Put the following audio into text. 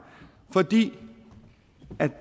fordi